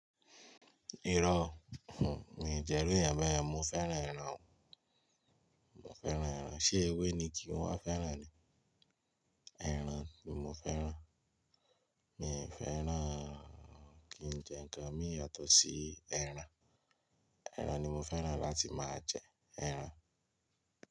Irọ́, òún, mi jẹ́ run eeyan bẹ́ẹ̀ yen, mo fẹ́ràn ẹran o. Mo fẹ́ràn ẹran. Ṣé ewé ni kí wọ́n fẹ́ràn ni? Ẹran ni mo fẹ́ràn. Mi ò fẹ́ràn kí n jẹ́ ǹkan míì yàtọ̀ sí ẹran. Ẹran ni mo fẹ́ràn láti máa jẹ, ẹran.